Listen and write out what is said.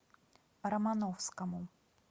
романовскому